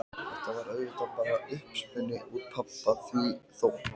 Þetta var auðvitað bara uppspuni úr pabba því þótt